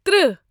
تٕرہ